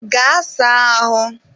Gaa saa ahụ!